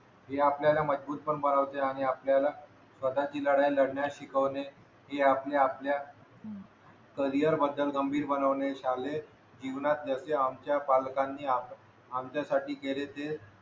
हे आपल्यलाला मजबूत पण बनवते आणि आपल्याला स्वतःची लढाई लढण्यास शिकवणे हि आपली आपल्या कॅरियर बद्दल गंभीर बनवणे शालेय जीवनात जसे आमचा पालकांनी आमच्यासाठी केले ते